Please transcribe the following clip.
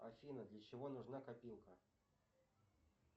афина для чего нужна копилка